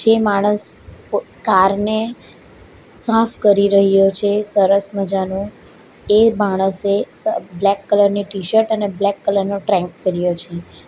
જે માણસ વ કારને સાફ કરી રહ્યો છે સરસ મજાનો એ માણસે સ બ્લેક કલર ની ટી-શર્ટ અને બ્લેક કલર નો ટ્રેન્ક પહેર્યો છે.